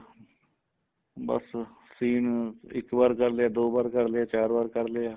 ਬੱਸ scene ਇੱਕ ਵਾਰ ਕਰ ਲਿਆ ਦੋ ਵਾਰ ਕਰ ਲਿਆ ਚਾਰ ਵਾਰ ਕਰ ਲਿਆ